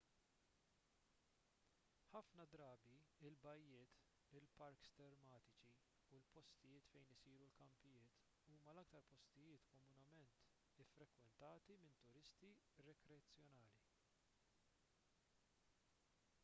ħafna drabi il-bajjiet il-parks tematiċi u l-postijiet fejn isiru l-kampijiet huma l-aktar postijiet komunement iffrekwentati minn turisti rikreazzjonali